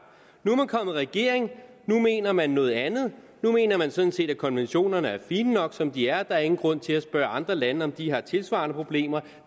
nu er man kommet i regering nu mener man noget andet nu mener man sådan set at konventionerne er fine nok som de er og der er ingen grund til at spørge andre lande om de har tilsvarende problemer